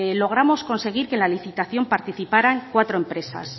logramos conseguir que en la licitación participarán cuatro empresas